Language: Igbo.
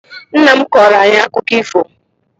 Nnam kọọro ayi akụkọ ifo